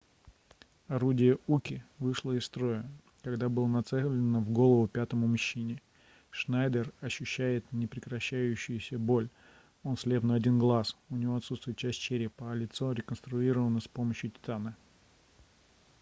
орудие уки вышло из строя когда было нацелено в голову пятому мужчине шнайдер ощущает непрекращающуюся боль он слеп на один глаз у него отсутствует часть черепа а лицо реконструировано с помощью титана